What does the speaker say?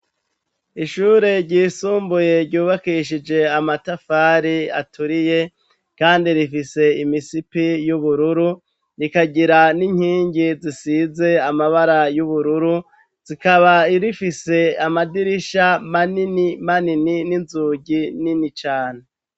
Ishure ryisumbuye ryubakishije amatafari aturiye, kandi rifise imisipi y'ubururu rikagira n'inkingi zisize amabara y'ubururu zikaba irifise amadirisha manini manini ninzugi nini cane.